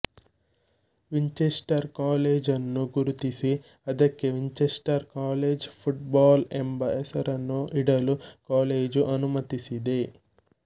Winchester college ಅನ್ನು ಗುರುತಿಸಿ ಅದಕ್ಕೆ ವಿಂಚೆಸ್ಟರ್ ಕಾಲೇಜ್ ಫುಟ್ ಬಾಲ್ ಎಂಬ ಹೆಸರನ್ನು ಇಡಲು ಕಾಲೇಜು ಅನುಮತಿಸಿದೆ